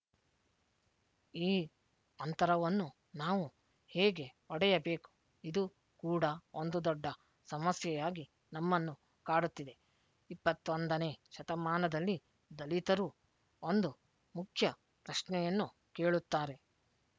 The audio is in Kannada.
ಈ ಅಂತರವನ್ನು ನಾವು ಹೇಗೆ ಒಡೆಯಬೇಕು ಇದು ಕೂಡ ಒಂದು ದೊಡ್ಡ ಸಮಸ್ಯೆಯಾಗಿ ನಮ್ಮನ್ನು ಕಾಡುತ್ತಿದೆ ಇಪ್ಪತ್ತ್ ಒಂದನೇ ಶತಮಾನದಲ್ಲಿ ದಲಿತರು ಒಂದು ಮುಖ್ಯ ಪ್ರಶ್ನೆಯನ್ನು ಕೇಳುತ್ತಾರೆ